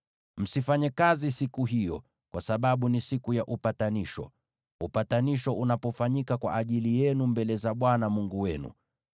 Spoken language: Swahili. Msifanye kazi siku hiyo, kwa sababu ni Siku ya Upatanisho, ambapo upatanisho unafanyika kwa ajili yenu mbele za Bwana Mungu wenu.